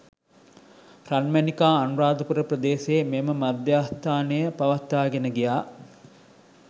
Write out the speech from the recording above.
රන්මැණිකා අනුරාධපුර ප්‍රදේශයේ මෙම මධ්‍යස්ථානය පවත්වාගෙන ගියා